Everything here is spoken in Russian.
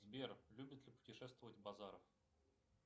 сбер любит ли путешествовать базаров